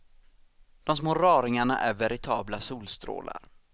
De små raringarna är veritabla solstrålar.